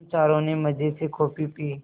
हम चारों ने मज़े से कॉफ़ी पी